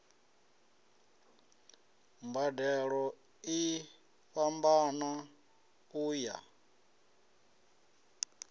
mbadelo i fhambana u ya